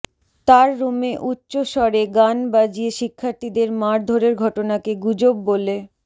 তার রুমে উচ্চ স্বরে গান বাজিয়ে শিক্ষার্থীদের মারধরের ঘটনাকে গুজব বলে